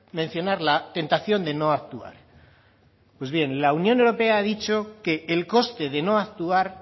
mencionar la tentación de no actuar pues bien la unión europea ha dicho que el coste de no actuar